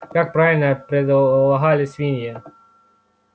как правило предполагали свиньи